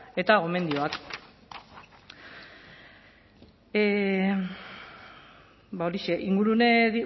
eta gomendioak ba horixe